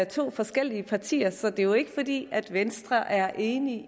to forskellige partier så det er ikke fordi venstre er enig